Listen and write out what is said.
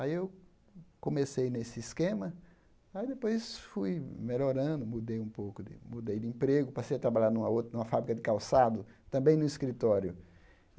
Aí eu comecei nesse esquema, aí depois fui melhorando, mudei um pouco de, mudei de emprego, passei a trabalhar numa ou numa fábrica de calçado, também no escritório.